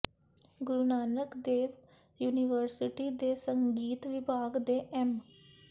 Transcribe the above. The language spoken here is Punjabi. ਗੁਰੂ ਨਾਨਕ ਦੇਵ ਯੂਨੀਵਰਸਿਟੀ ਦੇ ਸੰਗੀਤ ਵਿਭਾਗ ਦੇ ਐਮ